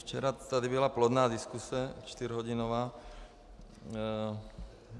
Včera tady byla plodná diskuse čtyřhodinová.